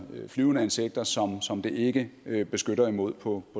flyvende insekter som som det ikke beskytter imod på